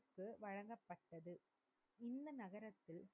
இந்த நகருக்கு வழங்கப்பட்டது. இந்த நகரத்தில்,